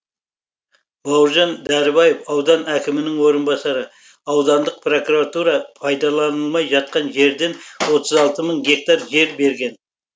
бауыржан дәрібаев аудан әкімінің орынбасары аудандық прокуратура пайдаланылмай жатқан жерден отыз алты мың гектар жер берген